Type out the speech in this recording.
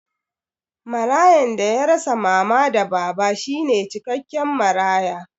Marayan da ya rasa mama da baba shine cikakken maraya